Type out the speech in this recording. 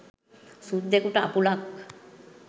සුද්දෙකුට අපුලක්.